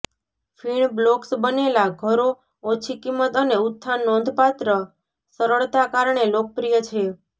ફીણ બ્લોક્સ બનેલા ઘરો ઓછી કિંમત અને ઉત્થાન નોંધપાત્ર સરળતા કારણે લોકપ્રિય છે